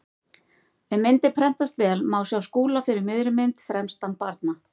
Ef myndin prentast vel má sjá Skúla fyrir miðri mynd, fremstan barna.